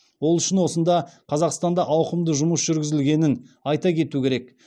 ол үшін осында қазақстанда ауқымды жұмыс жүргізілгенін айта кету керек